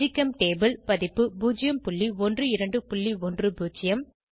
ஜிகெம்டேபுள் பதிப்பு 01210